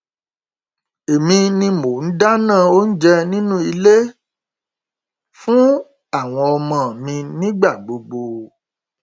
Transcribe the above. èmi ni mò ń dáná oúnjẹ nínú ilé fún àwọn ọmọ mi nígbà gbogbo